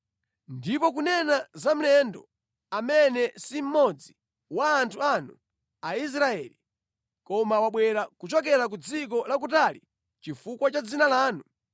“Ndipo kunena za mlendo amene si mmodzi wa anthu anu Aisraeli, koma wabwera kuchokera ku dziko lakutali chifukwa cha dzina lanu,